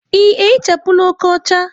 Ị ehichapụla oke ọcha?